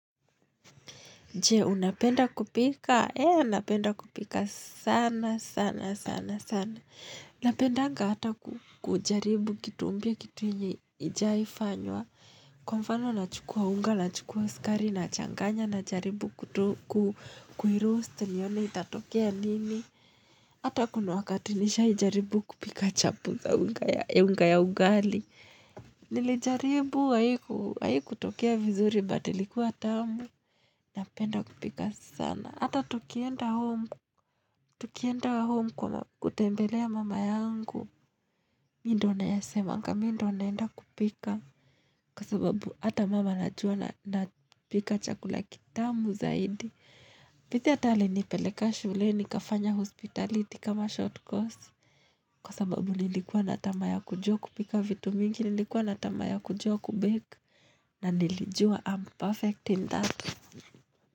Je, unapenda kupika? Ee, napenda kupika sana, sana, sana, sana. Napendanga hata kujaribu kitu mpya kitu yenye haijawahi fanywa. Kwa mfano nachukua unga, nachukua sukari, nachanganya, najaribu kutuku, kuiroosti, nione itatokea nini. Hata kuna wakata nisha wahi jaribu kupika chapo za unga ya ugali. Nilijaribu, haiku, haikutokea vizuri, but ilikuwa tamu. Napenda kupika sana. Hata tukienda home. Tukienda home kwa kutembelea mama yangu. Mimi ndio nayasemanga mimi ndio naenda kupika. Kwa sababu ata mum anajua na pika chakula kitamu zaidi. By the way hata alinipeleka shule nikafanya hospitality kama short course. Kwa sababu nilikuwa na tamaa ya kujua kupika vitu mingi. Nilikuwa na tamaa ya kujua ku bake. Na nilijua I'm perfect in that.